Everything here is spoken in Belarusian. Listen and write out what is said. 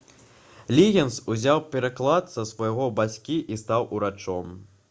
лігінс узяў прыклад са свайго бацькі і стаў урачом